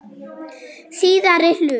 Síðari hluti